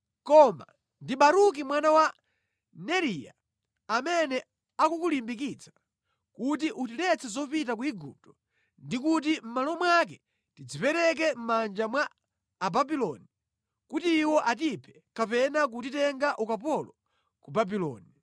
Koma ndi Baruki mwana wa Neriya amene akukulimbikitsa kuti utiletse zopita ku Igupto ndi kuti mʼmalo mwake tidzipereke mʼmanja mwa Ababuloni, kuti iwo atiphe kapena kutitenga ukapolo ku Babuloni.”